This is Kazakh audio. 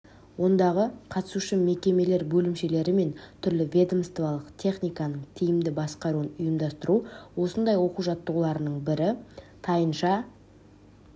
ондағы қатысушы мекемелер бөлімшелері мен түрлі ведомстволық техниканың тиімді басқаруын ұйымдастыру осындай оқу-жаттығулардың бірі тайынша